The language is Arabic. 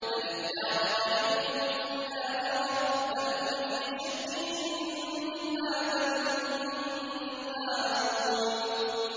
بَلِ ادَّارَكَ عِلْمُهُمْ فِي الْآخِرَةِ ۚ بَلْ هُمْ فِي شَكٍّ مِّنْهَا ۖ بَلْ هُم مِّنْهَا عَمُونَ